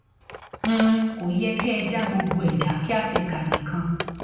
um kò yẹ kẹ ẹ dá gbogbo ẹ dá kíàtèkà nìkan